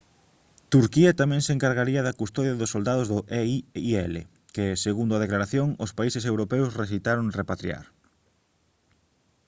turquía tamén se encargaría da custodia dos soldados do eiil que segundo a declaración os países europeos rexeitaron repatriar